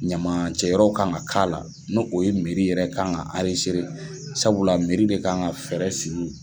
Ɲamacɛ yɔrɔw kan ka k'a la nu o ye yɛrɛ kan ka sabula de kan ka fɛɛrɛ sigi.